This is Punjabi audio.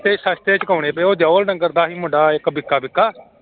ਤੇ ਸਸਤੇ ਚੁਕਾਉਣੇ ਪਏ ਉਹ ਜੋਹਲ ਨੰਗਰ ਦਾ ਸੀ ਮੁੰਡਾ ਇੱਕ ਬਿੱਕਾ ਬਿੱਕਾ।